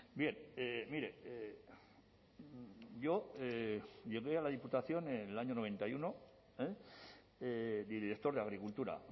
bien mire yo llegué a la diputación en el año noventa y uno director de agricultura